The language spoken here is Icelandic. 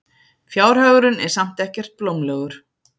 Fjárhagurinn er samt ekkert blómlegur.